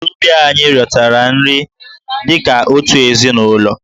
Ndị agbataobi anyị riotara nri dị ka otu ezinụlọ.